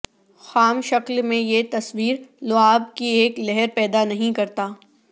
خام شکل میں یہ تصویر لعاب کی ایک لہر پیدا نہیں کرتا